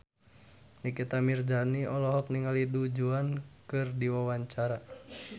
Nikita Mirzani olohok ningali Du Juan keur diwawancara